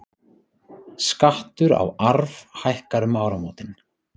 Skattur á arf hækkar um áramótin